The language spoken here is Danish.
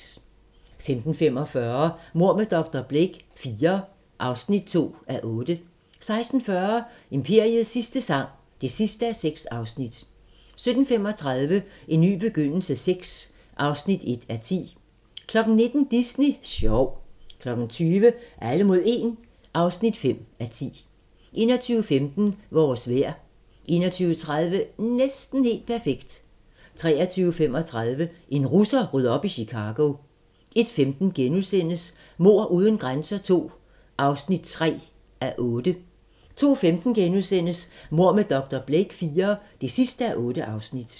15:45: Mord med dr. Blake IV (2:8) 16:40: Imperiets sidste sang (6:6) 17:35: En ny begyndelse VI (1:10) 19:00: Disney sjov 20:00: Alle mod 1 (5:10) 21:15: Vores vejr 21:30: Næsten helt perfekt 23:35: En russer rydder op i Chicago 01:15: Mord uden grænser II (3:8)* 02:15: Mord med dr. Blake IV (8:8)*